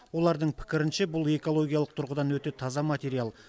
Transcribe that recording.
олардың пікірінше бұл экологиялық тұрғыдан өте таза материал